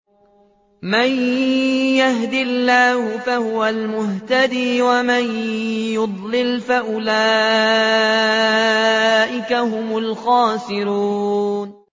مَن يَهْدِ اللَّهُ فَهُوَ الْمُهْتَدِي ۖ وَمَن يُضْلِلْ فَأُولَٰئِكَ هُمُ الْخَاسِرُونَ